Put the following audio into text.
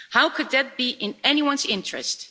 How could that be in anyone's interests?